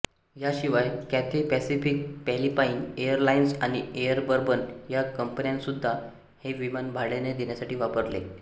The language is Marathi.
याशिवाय कॅथे पॅसिफिक फिलिपाईन एअरलाइन्स आणि एअर बर्बन या कंपन्यांनीसुद्धा हे विमान भाड्याने देण्यासाठी वापरले